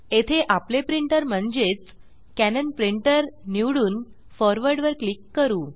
येथे आपले प्रिंटर म्हणजेच कॅनन प्रिंटर निवडून फॉरवर्ड फॉर्वर्ड वर क्लिक करू